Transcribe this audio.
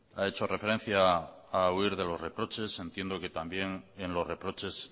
ha hecho referencia a huir de los reproches entiendo que también en los reproches